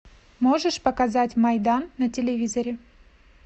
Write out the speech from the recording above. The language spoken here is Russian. можешь показать майдан на телевизоре